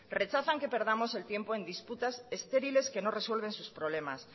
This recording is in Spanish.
rechazan que perdamos el tiempo en disputas estériles que no resuelven sus problemas